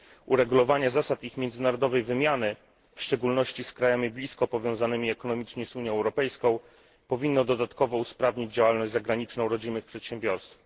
Uregulowanie zasad ich międzynarodowej wymiany, w szczególności z krajami blisko powiązanymi ekonomicznie z Unią Europejską, powinno dodatkowo usprawnić działalność zagraniczną rodzimych przedsiębiorstw.